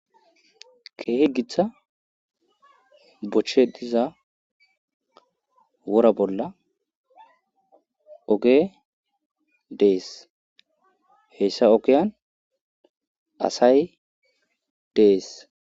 kehe giththa bochche diza wora bolla oge dees heyssa okiyan asay dees